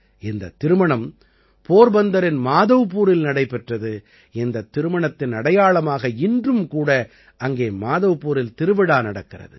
இந்தத் திருமணம் போர்பந்தரின் மாதவ்பூரில் நடைபெற்றது இந்தத் திருமணத்தின் அடையாளமாக இன்றும் கூட அங்கே மாதவ்பூரில் திருவிழா நடக்கிறது